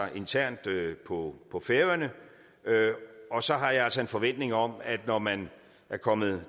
internt på på færøerne og så har jeg altså en forventning om at når man er kommet